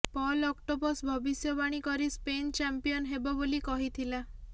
Paul octopus ଭବିଷ୍ୟବାଣୀ କରି Spain champion ହେବ ବୋଲି କହିଥିଲା